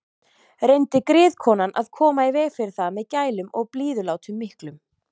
Reyndi griðkonan að koma í veg fyrir það með gælum og blíðulátum miklum.